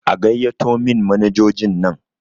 A gaiyato min manajojin nan!